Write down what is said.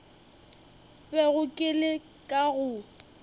bego ke le ka go